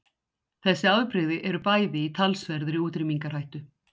Þessi afbrigði eru bæði í talsverðri útrýmingarhættu.